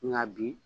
Nka bi